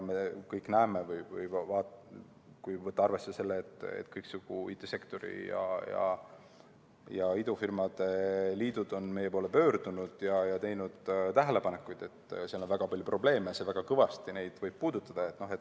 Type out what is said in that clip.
Me kõik seda näeme, kui võtta arvesse, et kõiksugu IT‑sektori ja idufirmade liidud on meie poole pöördunud ja teinud tähelepanekuid, et seal on väga palju probleeme ja see võib väga kõvasti neid puudutada.